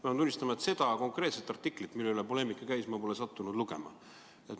Ma pean tunnistama, et seda konkreetset artiklit, mille üle poleemika käis, ma pole sattunud lugema.